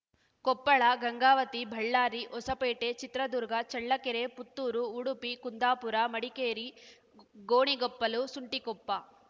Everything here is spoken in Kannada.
ಕೊಪ್ಪಳ ಗಂಗಾವತಿ ಬಳ್ಳಾರಿ ಹೊಸಪೇಟೆ ಚಿತ್ರದುರ್ಗ ಚಳ್ಳಕೆರೆ ಪುತ್ತೂರು ಉಡುಪಿ ಕುಂದಾಪುರ ಮಡಿಕೇರಿ ಗ್ ಗೋಣಿಗೊಪ್ಪಲು ಸುಂಟಿಕೊಪ್ಪ